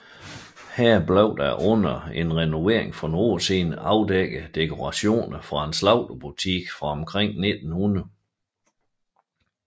Her blev der under en renovering for nogle år siden afdækket dekorationer fra en slagterbutik fra omkring år 1900